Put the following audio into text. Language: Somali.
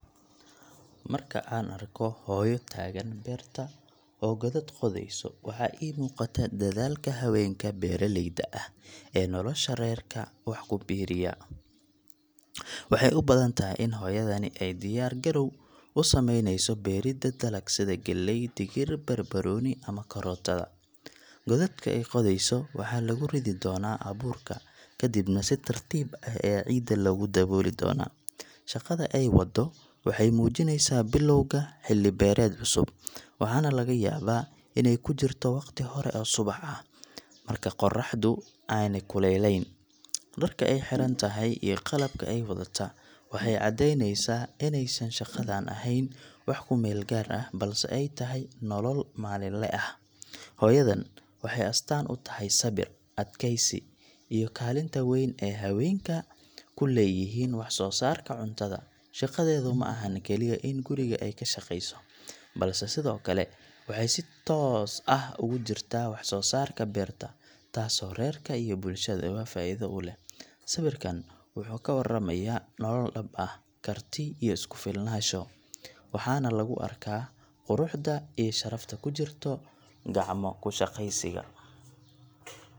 Marka aan arko hooyo taagan beerta oo godad qodayso, waxa ii muuqata dadaalka haweenka beeraleyda ah ee nolosha reerka wax ku biiriya. Waxay u badan tahay in hooyadani ay diyaar garow u sameyneyso beeridda dalag, sida galley, digir, barbarooni ama karootada. Godadka ay qodayso waxaa lagu ridi doonaa abuurka, kadibna si tartiib ah ayaa ciidda loogu dabooli doonaa. Shaqada ay waddo waxay muujinaysaa bilowga xilli beereed cusub, waxaana laga yaabaa inay ku jirto waqti hore oo subax ah, marka qorraxdu aanay kululayn. Dharka ay xiran tahay iyo qalabka ay wadataa waxay caddeynayaan inaysan shaqadan ahayn wax ku meel gaar ah, balse ay tahay nolol maalinle ah. Hooyadan waxay astaan u tahay sabir, adkeysi iyo kaalinta weyn ee haweenka ku leeyihiin wax-soo-saarka cuntada. Shaqadeedu ma ahan kaliya in guriga ay ka shaqeyso, balse sidoo kale waxay si toos ah ugu jirtaa wax soo saarka beerta, taasoo reerka iyo bulshadaba faa’iido u leh. Sawirkan wuxuu ka warramayaa nolol dhab ah, karti iyo isku-filnaansho, waxaana lagu arkaa quruxda iyo sharafta ku jirta gacmo-ku-shaqaysiga.